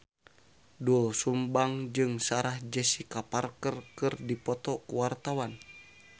Doel Sumbang jeung Sarah Jessica Parker keur dipoto ku wartawan